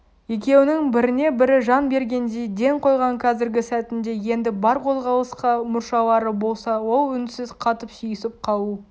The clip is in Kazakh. екеуінің біріне-бірі жан бергендей ден қойған қазіргі сәтінде енді бар қозғалысқа мұршалары болса ол үнсіз қатып сүйісіп қалу